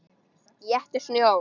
Éttu snjó.